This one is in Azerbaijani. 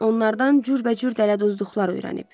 Onlardan cürbəcür dələduzluqlar öyrənib.